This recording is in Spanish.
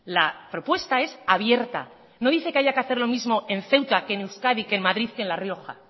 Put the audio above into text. la propuesta es abierta no dice que haya que hacer mismo en ceuta que en euskadi que en madrid que en la rioja